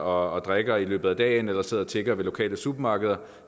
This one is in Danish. og drikker i løbet af dagen eller sidder og tigger ved lokale supermarkeder